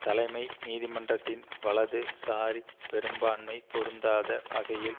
தலைமை நீதிமன்றத்தின் வலது சாரிப் பெரும்பான்மை பொருந்தாத வகையில்